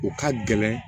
U ka gɛlɛn